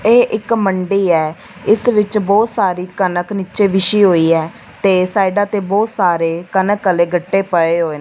ਇਹ ਇੱਕ ਮੰਡੀ ਹੈ ਇਸ ਵਿੱਚ ਬਹੁਤ ਸਾਰੀ ਕਣਕ ਨੀਚੇ ਵਿਸੀ ਹੋਈ ਹੈ ਤੇ ਸਾਡਾ ਤੇ ਬਹੁਤ ਸਾਰੇ ਕਣਕ ਵਾਲੇ ਗੱਟੇ ਪਏ ਹੋਏ ਨੇ।